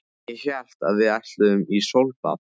Ég hélt að við ætluðum í sólbað!